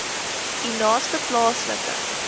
u naaste plaaslike